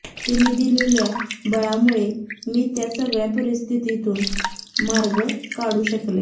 तिने दिलेल्या बळामुळे मी त्या सगळ्या परिस्थितीतून मार्ग काढू शकले